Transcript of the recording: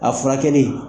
A furakɛli